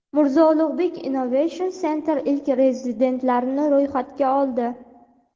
Mirzo Ulugbek Innovation Center ilk rezidentlarni ro‘yxatga oldi.